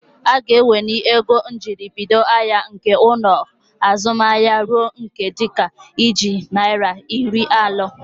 Aga eweli ego njiribido ahịa nke ụlọaku azụmahịa ruo ihe dịka ijeri naira iri anọ.